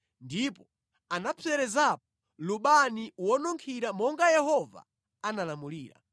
ndipo anapserezapo lubani wonunkhira monga Yehova anamulamulira.